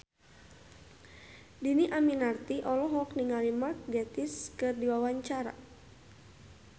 Dhini Aminarti olohok ningali Mark Gatiss keur diwawancara